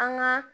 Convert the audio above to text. An ka